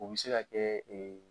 U bɛ se ka kɛ